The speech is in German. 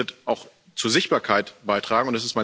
Das wird auch zur Sichtbarkeit beitragen.